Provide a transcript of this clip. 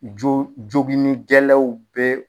Jo joginigɛlɛw be